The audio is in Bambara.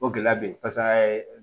O gɛlɛya bɛ yen paseke an y'a ye